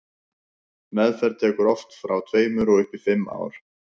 meðferð tekur oft frá tveimur og upp í fimm ár